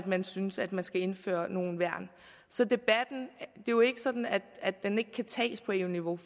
man synes at man skal indføre nogle værn så debatten er jo ikke sådan at den ikke kan tages på eu niveau